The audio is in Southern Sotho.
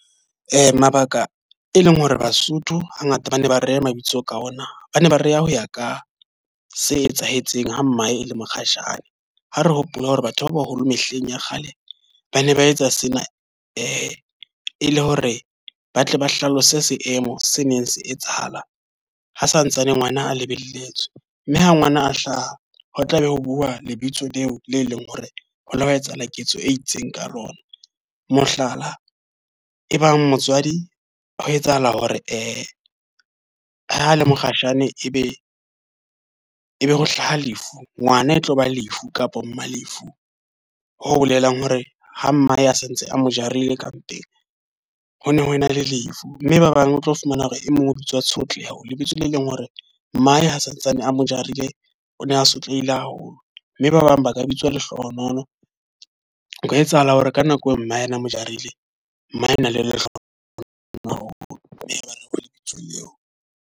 Mabaka e leng hore Basotho ha ngata ba ne ba reha mabitso ka ona. Ba ne ba reha ho ya ka se etsahetseng ha mmae e le mokgatjhane. Ha re hopola hore batho ba baholo mehleng ya kgale ba ne ba etsa sena e e le hore ba tle ba hlalose seemo se neng se etsahalang ha santsane ngwana a lebelletswe. Mme ha ngwana a hlaha, ho tlabe ho bua lebitso leo le leng hore ho ile hwa etsahala ketso e itseng ka lona. Mohlala, ebang motswadi ho etsahala hore ha le mokgatjhane, e be ebe ho hlaha lefu. Ngwana e tloba Lefu kapa Malefu. Ho bolelang hore ha mmae a santse a mo jarile ka mpeng, ho ne ho ena le lefu. Mme ba bang o tlo fumana hore e mong o bitswa Tshotleho, lebitso le leng hore mmae ha santsane a mo jarile o ne a sotlehile haholo. Mme ba bang ba ka bitswa Lehlohonolo, nka etsahala hore ka nako eo mme yena a mo jarile, mmae o e na le lehlohonolo haholo mme ba lebitso eo.